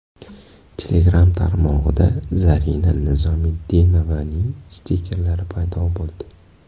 Telegram tarmog‘ida Zarina Nizomiddinovaning stikkerlari paydo bo‘ldi.